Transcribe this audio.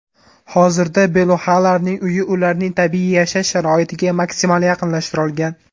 Hozirda beluxalarning uyi ularning tabiiy yashash sharoitiga maksimal yaqinlashtirilgan.